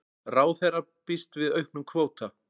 Ráðherra býst við auknum kvóta